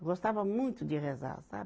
Eu gostava muito de rezar, sabe?